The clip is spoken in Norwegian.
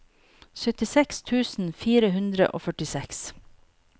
syttiseks tusen fire hundre og førtiseks